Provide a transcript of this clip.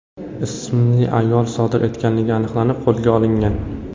ismli ayol sodir etganligi aniqlanib, qo‘lga olingan.